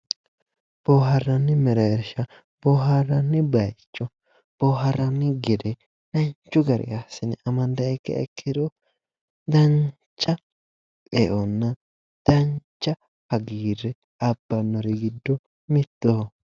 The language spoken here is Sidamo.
Booharranni mereersha:-Booharranni bayicho boohaarranni gede danchu garinni amandanniha ikkiro dancha eo dancha hagiirre abbannori giddo mittoho